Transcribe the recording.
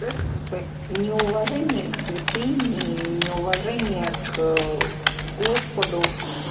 то это как бы неуважение к святыне и неуважение к господу